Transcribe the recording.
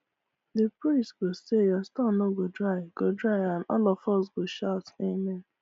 the priest go say your store no go dry go dry and all of us go shout amen